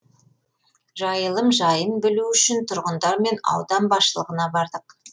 жайылым жайын білу үшін тұрғындармен аудан басшылығына бардық